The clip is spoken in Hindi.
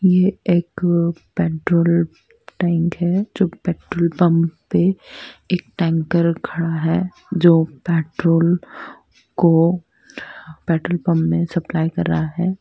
यह एक पेट्रोल टैंक है जो पेट्रोल पम्प पे एक टैंकर खड़ा है जो पेट्रोल को पेट्रोल पम्प मे सप्लाई कर रहा है।